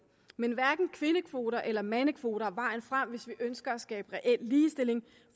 men hverken kvindekvoter eller mandekvoter er vejen frem hvis vi ønsker at skabe reel ligestilling